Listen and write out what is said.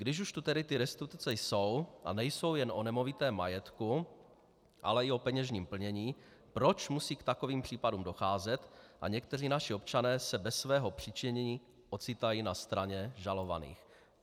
Když už tu tedy ty restituce jsou, a nejsou jen o nemovitém majetku, ale i o peněžním plnění, proč musí k takovým případům docházet a někteří naši občané se bez svého přičinění ocitají na straně žalovaných?